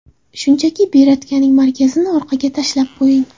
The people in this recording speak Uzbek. Shunchaki beretkaning markazini orqaga tashlab qo‘ying.